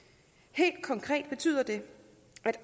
helt konkret betyder det